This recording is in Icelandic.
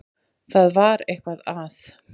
Það var eitthvað að.